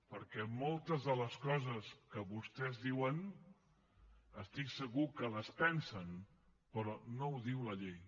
perquè moltes de les coses que vostès diuen estic segur que les pensen però no les diu la llei